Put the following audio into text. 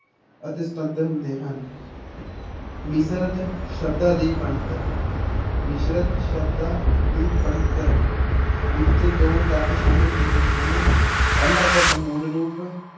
ਅਤੇ ਸੁਤੰਤਰ ਹੁੰਦੇ ਹਨ ਮਿਸ਼ਰਤ ਸ਼ਬਦਾਂ ਦੀ ਬਣਤਰ, ਮਿਸ਼ਰਤ ਸ਼ਬਦਾਂ ਦੀ ਬਣਤਰ ਵਿੱਚ ਦੋ ਤੱਤ ਸ਼ਾਮਿਲ ਹੁੰਦੇ ਹਨ ਪਹਿਲਾ ਤੱਤ ਮੂਲ ਰੂਪ